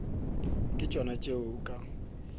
ke tšona tše o ka